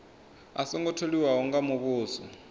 a songo tholiwa nga muvhuso